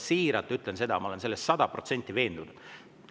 Siiralt ütlen seda, ma olen selles sada protsenti veendunud.